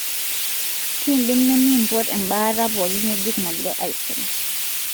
kindim nemipot embaata pooki ngejuk nangirae aisum.